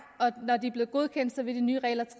og når de er blevet godkendt vil de nye regler